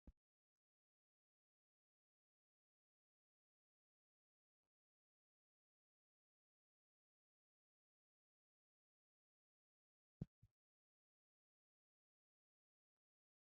Issi maata mala meray de'iyo caamay diyaagee hagan beetiyaagaa matan hara qassi dumma dumma keehi lo'iyaabatikka de'oosona. Ha sohoy ayba lo'ii!